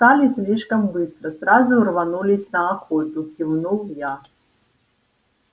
встали слишком быстро сразу рванулись на охоту кивнул я